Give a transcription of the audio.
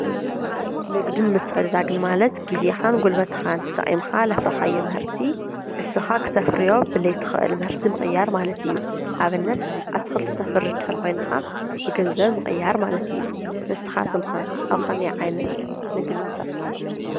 ንግድን ምትዕድዳግን ማለት ግዜካን ጉልበትካን ተጠቂምካ ዘፍረካዮ ምህርቲ ንስካ ክተፍርዮ ብዘይትክእል ምህርቲ ምቅያር ማለት እዩ። ኣብነት ኣትክልቲ ተፍሪ እንተድኣ ኮንካ ብገንዘብ ምቅያር ማለት እዩ ንስካትኩም ከ ኣብ ከመይ ዓይነት ንግዲ ትሳተፉ ኣለኩም ?